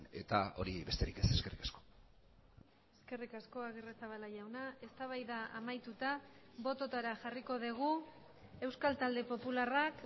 eta hori besterik ez eskerrik asko eskerrik asko agirrezabala jauna eztabaida amaituta bototara jarriko dugu euskal talde popularrak